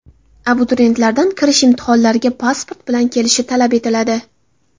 Abituriyentlardan kirish imtihonlariga pasport bilan kelish talab etiladi.